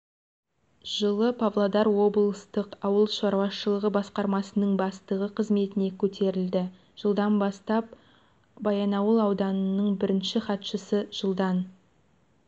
жылы павлодар облыстық ауыл шаруашылығы басқармасының бастығы қызметіне көтерілді жылдан бастап баянауыл ауданының бірінші хатшысы жылдан